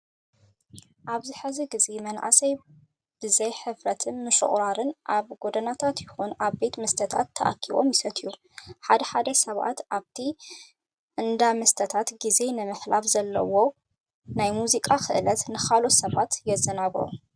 ኣብዚ ሕዚ ግዘ መናእሰይ ብዘይ ሕፍረትን ምሽቁራርን ኣብ ጎደናታት ይኹን ኣብ ቤት መስተታት ተኣኪቦም ይሰትዩ። ሓደ ሓደ ሰባት ኣብቲ እንዳመስተታት ግዜ ንምሕላፍ ብዘለዎም ናይ ሙዚቃ ክእለት ንኻልኦት ሰባት የዘናግዑ።